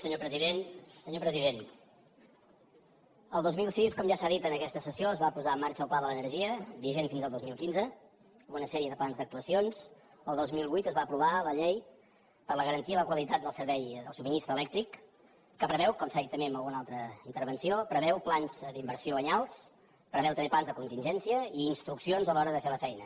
senyor president el dos mil sis com ja s’ha dit en aquesta sessió es va posar en marxa el pla de l’energia vigent fins al dos mil quinze amb una sèrie de plans d’actuacions el dos mil vuit es va aprovar la llei de la garantia i la qualitat del subministrament elèctric que preveu com s’ha dit també en alguna altra intervenció plans d’inversió anyals preveu també plans de contingència i instruccions a l’hora de fer la feina